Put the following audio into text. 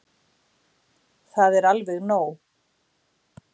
Það er alveg nóg.